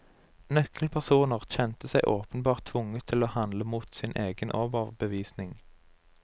Nøkkelpersoner kjente seg åpenbart tvunget til å handle mot sin egen overbevisning.